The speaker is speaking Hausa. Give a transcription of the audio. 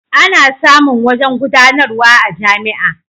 Ana samun wajen gudanarwa a jami'a.